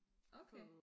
Okay